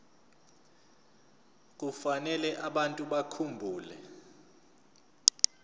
kufanele abantu bakhumbule